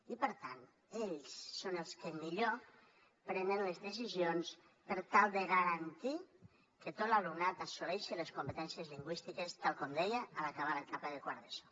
i per tant ells són els que millor prenen les decisions per tal de garantir que tot l’alumnat assoleixi les competències lingüístiques tal com deia en acabar l’etapa de quart d’eso